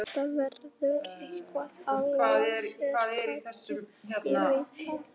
Þetta verður eitthvað alveg sérstakt, ég veit það.